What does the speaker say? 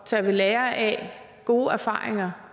tage ved lære af gode erfaringer